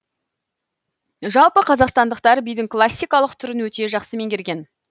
жалпы қазақстандықтар бидің классикалық түрін өте жақсы меңгерген